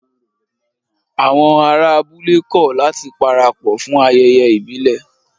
Àwọn ará abúlé kọ̀ láti parapọ̀ fún ayẹyẹ ìbílẹ̀